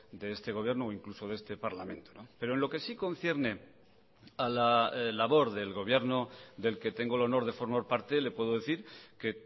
de este gobierno o incluso de este parlamento pero en lo que sí concierne a la labor del gobierno del que tengo el honor de formar parte le puedo decir que